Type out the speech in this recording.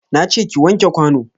Na ce ki wanke kwano.